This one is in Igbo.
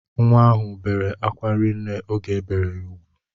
Nwa ahụ bere akwa rinne oge ebere ya ugwu